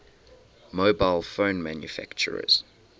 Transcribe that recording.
mobile phone manufacturers